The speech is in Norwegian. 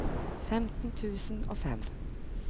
femten tusen og fem